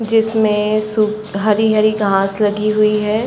जिसमें सु हरी - हरी घास लगी हुई है।